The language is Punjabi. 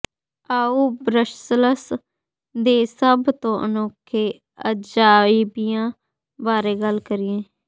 ਆਉ ਬ੍ਰਸਲਸ ਦੇ ਸਭ ਤੋਂ ਅਨੋਖੇ ਅਜਾਇਬਿਆਂ ਬਾਰੇ ਗੱਲ ਕਰੀਏ